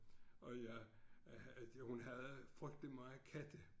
Og jeg øh hun havde frygteligt meget katte